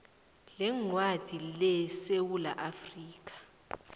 leencwadi lesewula afrika